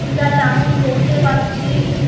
টা চামুচ দেখতে পাচ্ছি।